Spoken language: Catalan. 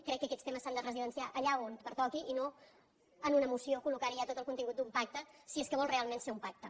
crec que aquests temes s’han de residenciar allà on pertoqui i no en una moció col·locar hi ja tot el contingut d’un pacte si és que vol realment ser un pacte